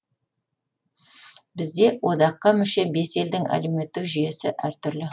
бізде одаққа мүше бес елдің әлеуметтік жүйесі әртүрлі